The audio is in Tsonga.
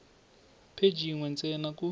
pheji yin we ntsena ku